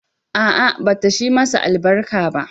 A'a, bata shi masa albarka ba.